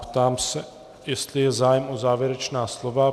Ptám se, jestli je zájem o závěrečná slova.